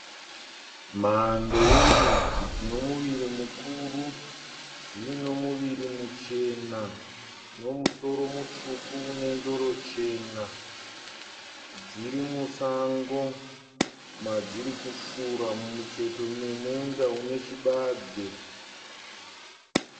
Mhando yembudzi dzinomuviri mukuru. Dzino muviri muchena nemusoro mutsvuku unendoro chena. Dziri musango madzirikufura mumucheto memunda une chibage.